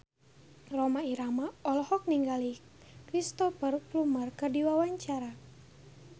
Rhoma Irama olohok ningali Cristhoper Plumer keur diwawancara